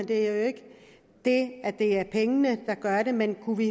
det er jo ikke det at det er pengene der gør det men kunne vi